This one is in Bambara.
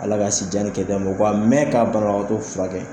Ala k'a sijan ni kɛnɛya d'o ma, o k a mɛn ka banabagato furakɛ.